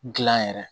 Gilan yɛrɛ